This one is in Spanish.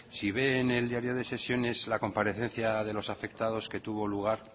si ve en el diario de sesiones la comparecencia de los afectados que tuvo lugar